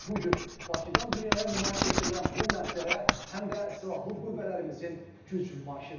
Bu gün Bakıdan dünyaya nümayiş etdirilən bu mənzərə həm də silahlı qüvvələrimizin güc nümayişidir.